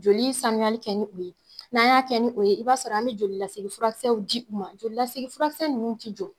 Joli sanuyali kɛ ni o ye n'an y'a kɛ ni o ye i b'a sɔrɔ an be joli lasegin furakisɛw di u ma joli lasegin furakisɛ ninnu ti jɔ